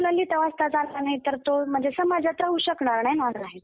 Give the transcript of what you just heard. आणि त्या मुलाला जर लिहिता वाचता जर आलं नाही तर तो म्हणजे समाजात राहू शकणार नाही ना.